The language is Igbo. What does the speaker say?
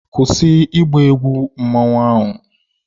Kwụsị ịgba egwu na masquerade!